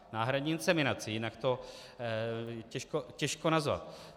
Náhradní inseminaci, jinak to těžko nazvat.